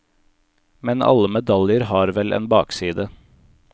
Men alle medaljer har vel en bakside.